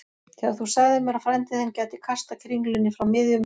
Þegar þú sagðir mér að frændi þinn gæti kastað kringlunni frá miðjum